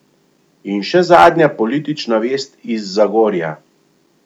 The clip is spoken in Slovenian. In še zadnja politična vest iz Zagorja.